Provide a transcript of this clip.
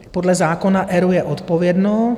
Podle zákona ERÚ je odpovědno.